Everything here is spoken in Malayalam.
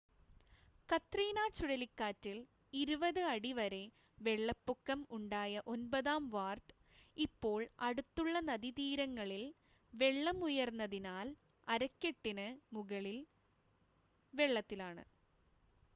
കത്രീന ചുഴലിക്കാറ്റിൽ 20 അടി വരെ വെള്ളപ്പൊക്കം ഉണ്ടായ ഒൻപതാം വാർഡ് ഇപ്പോൾ അടുത്തുളള നദീതീരങ്ങളിൽ വെള്ളം ഉയർന്നതിനാൽ അരക്കെട്ടിന് മുകളിൽ വെള്ളത്തിലാണ്